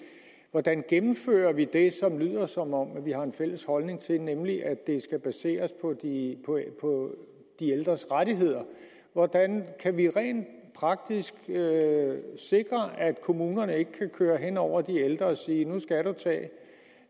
hvordan gennemfører vi det som det lyder som om vi har en fælles holdning til nemlig at det skal baseres på de ældres rettigheder hvordan kan vi rent praktisk sikre at kommunerne ikke kan køre hen over de ældre og sige nu skal du tage